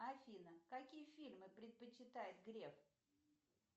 афина какие фильмы предпочитает греф